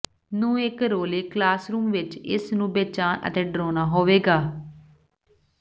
ਨੂੰ ਇੱਕ ਰੌਲੇ ਕਲਾਸਰੂਮ ਵਿੱਚ ਇਸ ਨੂੰ ਬੇਚੈਨ ਅਤੇ ਡਰਾਉਣਾ ਹੋਵੇਗਾ